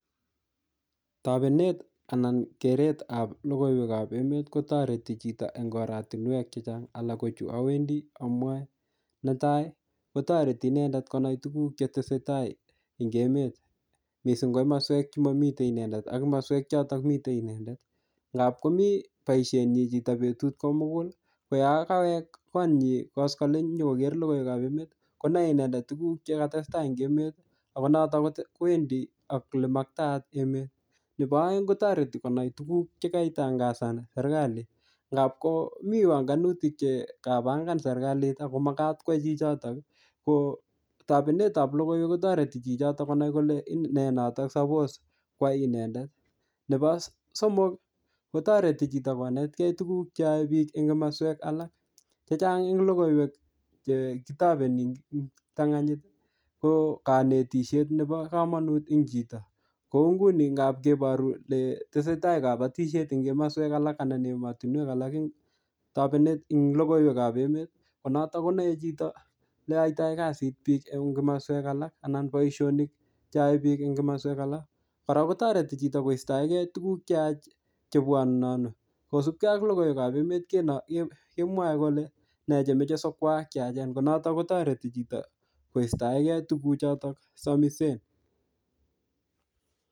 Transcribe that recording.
Tapenet anan keretab lokoiwekab emet kotoreti chito eng' oratinwek chechang' alak ko chu awendi amwoe netai kotoreti inendet konai tukuk chetesei tai ing' emet mising' ko komoswek chemomitei inendet ak moswek choto mitei inendet ngap komi chito boishenyi betut ko mugul ko yo kawek konyi koskoling' konyikoker lokoiwekab emet konoei inendet tukuk chekatestai eng' emet ako noto kowendi ak ole maktaat emet nebo oeng' kotoreti konai tukuk chekaitangasan serikali ngap komi panganutik chekapangan serikalit ako makat kwo chichotok ko tapenetab lokoiwek kotoreti chichotok konai kole nee notok sapos kwai inendet nebo somok kotoreti chito konetkei tukuk cheoei biik eng' komoswek alak chechang' eng' lokoiwek chekitopeni eng' kiptang'anyit ko kanetishet nebo kamanut eng' chito kou nguni ngap keboru ole tesei tai kabatishet eng' komoswek alak anan emotinwek alak eng' tapenet ing' lokoiwekab emet konoto konoei leoitoi kasit biik eng' komoswek alak anan boishonik cheoei biik eng' komoswek alak kora kotoreti chito koistoekei tukuk cheach chebwonunonu kosupkei ak lokoiwekab emet kemwoei kole me chemochei sikwaak cheyachen ko notok kotoreti chito koistoekei tukuchotok somisen